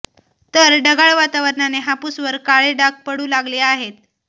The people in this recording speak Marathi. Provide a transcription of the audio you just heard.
तर ढगाळ वातावरणाने हापूसवर काळे डाग पडू लागले आहेत